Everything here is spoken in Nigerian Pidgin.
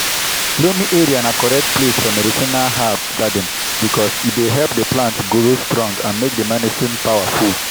loamy area na correct place for medicinal herb garden because e dey help the plant grow strong and make the medicine power full.